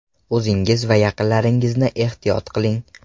O‘zingiz va yaqinlaringizni ehtiyot qiling!